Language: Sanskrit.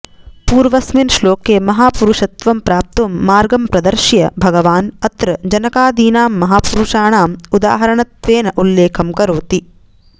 पूर्वस्मिन् श्लोके महापुरुषत्वं प्राप्तुं मार्गं प्रदर्श्य भगवान् अत्र जनकादीनां महापुरुषाणाम् उदाहरणत्वेन उल्लेखं करोति